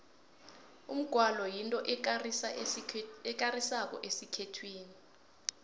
umgwalo yinto ekarisako esikhethwini